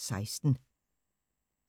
(32:216)